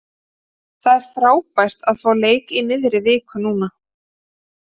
Það er frábært að fá leik í miðri viku núna.